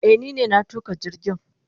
Eh ni ne na tuka jirgin.